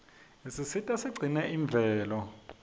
isisita sigcine imvelo